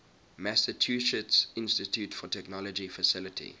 massachusetts institute of technology faculty